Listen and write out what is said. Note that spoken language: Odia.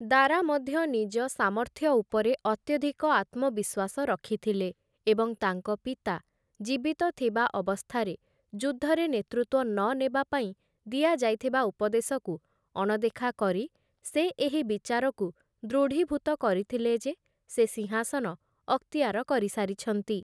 ଦାରା ମଧ୍ୟ ନିଜ ସାମର୍ଥ୍ୟ ଉପରେ ଅତ୍ୟଧିକ ଆତ୍ମବିଶ୍ୱାସ ରଖିଥିଲେ, ଏବଂ ତାଙ୍କ ପିତା ଜୀବିତ ଥିବା ଅବସ୍ଥାରେ ଯୁଦ୍ଧରେ ନେତୃତ୍ୱ ନନେବା ପାଇଁ ଦିଆଯାଇଥିବା ଉପଦେଶକୁ ଅଣଦେଖା କରି ସେ, ଏହି ବିଚାରକୁ ଦୃଢ଼ୀଭୂତ କରିଥିଲେ ଯେ, ସେ ସିଂହାସନ ଅକ୍ତିଆର କରିସାରିଛନ୍ତି ।